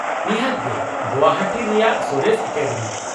-ᱱᱤᱦᱟᱹᱛ ᱜᱮ ᱜᱳᱣᱟᱦᱟᱴᱤ ᱨᱮᱭᱟᱜ ᱥᱚᱨᱮᱥ ᱮᱠᱟᱰᱮᱢᱤ ᱾